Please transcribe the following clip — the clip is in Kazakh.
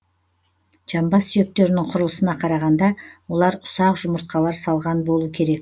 жамбас сүйектерінің құрылысына қарағанда олар ұсақ жұмыртқалар салған болу керек